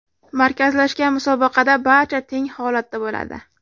Markazlashgan musobaqada barcha teng holatda bo‘ladi.